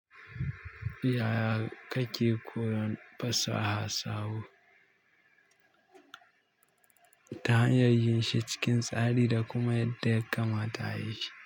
Yaya kake koyon pasaha sahu, ta hanyar yin shi cikin tsari da kuma yadda yakamata ayi shi?